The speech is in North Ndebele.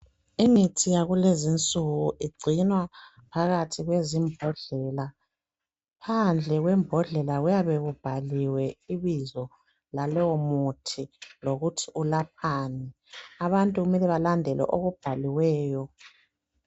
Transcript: Imithi yakulezinsuku igcinwa phakathi lwezimbodlela phandle kwembodlela kuyabe kubhaliwe ibizo lalowomuthi lokuthi ulaphani abantu kumele balandele okubhaliweyo